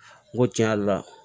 N ko tiɲɛ yɛrɛ la